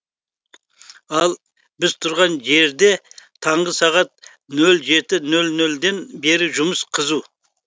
ал біз тұрған жерде таңғы сағат нөл жеті нөл нөл ден бері жұмыс қызу